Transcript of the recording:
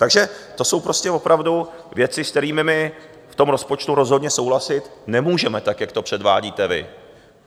Takže to jsou prostě opravdu věci, s kterými my v tom rozpočtu rozhodně souhlasit nemůžeme, tak jak to předvádíte vy.